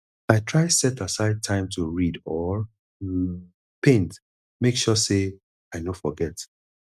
i try set aside time to read or um paint make sure say i no forget